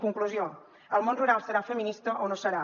conclusió el món rural serà feminista o no serà